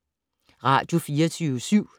Radio24syv